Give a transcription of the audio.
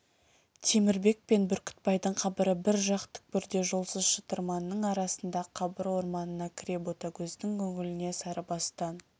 темірбек пен бүркітбайдың қабыры бір жақ түкпірде жолсыз шытырманның арасында қабыр орманына кіре ботагөздің көңіліне сарыбастан